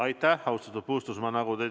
Aitäh, austatud Puustusmaa!